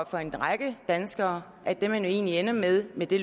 for en række danskere at det man jo egentlig ender med med det